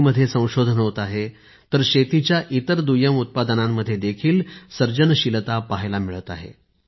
शेती मध्ये संशोधन होत आहे तर शेतीच्या इतर दुय्यम उत्पादनांमध्ये देखील सर्जनशीलता पाहायला मिळत आहे